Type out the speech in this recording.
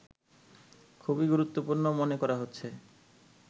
খুবই গুরুত্বপূর্ণ মনে করা হচ্ছে